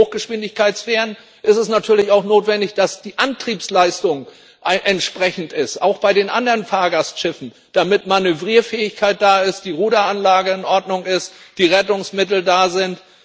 Und bei den Hochgeschwindigkeitsfähren ist es natürlich auch notwendig, dass die Antriebsleistung entsprechend ist, auch bei den anderen Fahrgastschiffen, damit Manövrierfähigkeit da ist, die Ruderanlage in Ordnung ist, die Rettungsmittel da sind.